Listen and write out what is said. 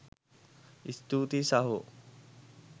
ස්තූතියි සහෝ.